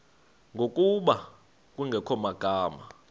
ngokuba kungekho magama